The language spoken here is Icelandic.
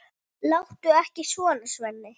Láttu ekki svona, Svenni.